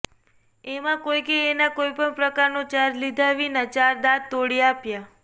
એમાં કોઈકે એના કોઈપણ પ્રકારનો ચાર્જ લીધા વિના ચાર દાંત તોડી આપ્યા